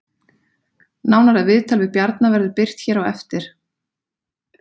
Nánara viðtal við Bjarna verður birt hér á eftir